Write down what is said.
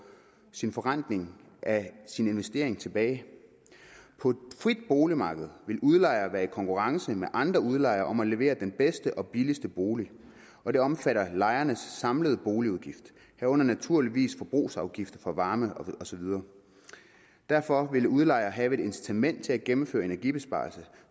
en forrentning af sin investering tilbage på et frit boligmarked vil udlejer være i konkurrence med andre udlejere om at levere den bedste og billigste bolig og det omfatter lejernes samlede boligudgift herunder naturligvis forbrugsafgifter for varme og så videre derfor vil udlejer have et incitament til at gennemføre energibesparelse